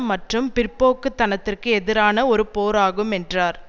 மற்றும் பிற்போக்கு தனத்திற்கு எதிரான ஒரு போர் ஆகும் என்றார்